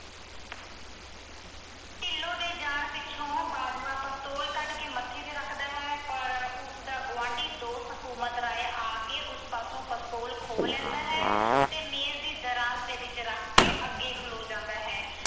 ਢਿੱਲੋਂ ਦੇ ਜਾਣ ਮਗਰੋਂ ਬਾਜਵਾ pistol ਕੱਢ ਕੇ ਮੱਥੇ ਤੇ ਰੱਖਦਾ ਹੈ ਪਰ ਉਸਦਾ ਗੁਆਂਢੀ ਦੋਸਤ ਹਕੂਮਤ ਰਾਏ ਆ ਕੇ ਉਸ ਪਾਸੋਂ pistol ਖੋਹ ਲੈਂਦਾ ਹੈ ਤੇ ਮੇਜ ਦੀ ਦਰਾਜ ਵਿੱਚ ਰੱਖ ਕੇ ਅੱਗੇ ਖਲੋ ਜਾਂਦਾ ਹੈ।